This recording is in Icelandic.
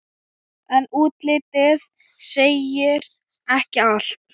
En útlitið segir ekki allt.